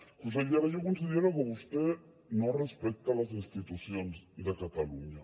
consellera jo considero que vostè no respecta les institucions de catalunya